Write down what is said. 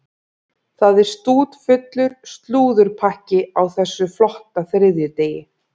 Það er stútfullur slúðurpakki á þessum flotta þriðjudegi.